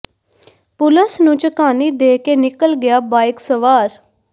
ਪੁਲਸ ਨੂੰ ਝਕਾਨੀ ਦੇ ਕੇ ਨਿਕਲ ਗਿਆ ਬਾਈਕ ਸਵਾਰ